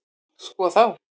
Sko þá!